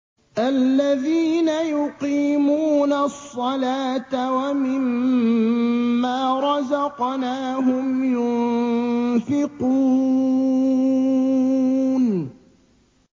الَّذِينَ يُقِيمُونَ الصَّلَاةَ وَمِمَّا رَزَقْنَاهُمْ يُنفِقُونَ